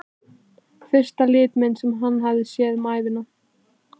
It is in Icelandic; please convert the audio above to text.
Fyrsta litmyndin sem hann hafði séð um ævina.